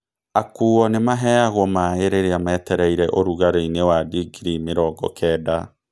Akuuo nĩ maaheagwo maĩ rĩrĩa metereire rugarĩinĩ wa digrii mĩrongo kenda.